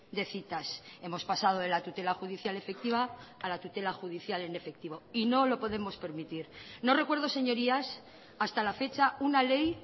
de citas hemos pasado de la tutela judicial efectiva a la tutela judicial en efectivo y no lo podemos permitir no recuerdo señorías hasta la fecha una ley